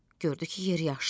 Gördü ki, yeri yaşdı.